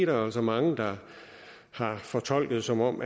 jo så mange der har fortolket som om